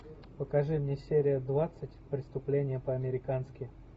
покажи мне серия двадцать преступление по американски